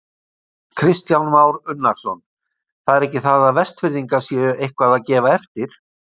Kristján Már Unnarsson: Það er ekki það að Vestfirðingar séu eitthvað að gefa eftir?